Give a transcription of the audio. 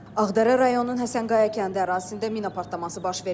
Ağdərə rayonunun Həsənqaya kəndi ərazisində mina partlaması baş verib.